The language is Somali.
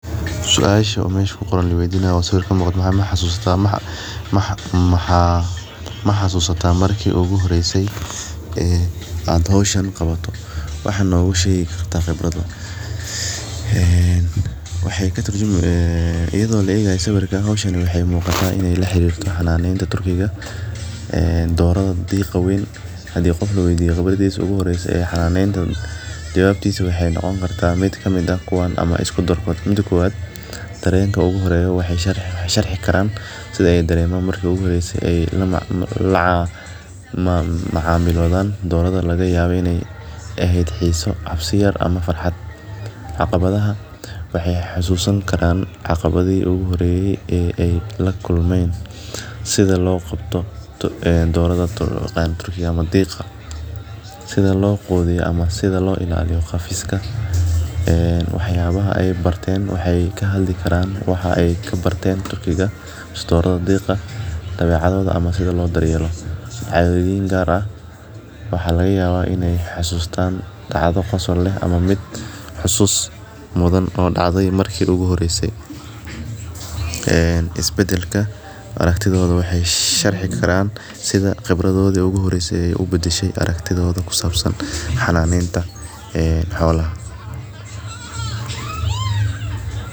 Suasha mesha ku qoran laweydinayo maxaa waye oo sawirka kamuqda maxaa waye maxasusata marki ogu horeyse ee aad hoshan qabato wax noga shegi kartaa inta badan waxee katurjumeysa iyada oo laegayo waxe u getahay doradha turkiga eh ee doradha hadii qof kaweydiyo qibradisa ogu horeyso ee xananen jawabtisa waxee noqon kartaa mid kamiid ah kuwan ama isku darkod mida kowaad darenka ogu horeyo waxee sharaxeysa sitha ee dareman marki ogu horeyse la macamilodhan doradhan lagayawa in ee ehed xiso yar farxad ama waxee xasusan karan caqabadhihi ogu horeye ee lakulmen sitha lo qabto doradha ama diqa sitha lo qudhiyo ama sitha lo ilaliyo wax yabaha ee barten waxee ka hadli karan ee waxyala ee ka barten turkiga mase doradha mase diqa ama sitha li daryelo cadhowin gar ah waxaa lagayawa in ee xasustan dacdo tas oo leh ama mid xasus mudan tas oo dacde marki ogu horeyse ee isbadalka aragtidhoda waxe sharxi karan sitha qibradodi u horeyse ubadasho xananeta xolaha.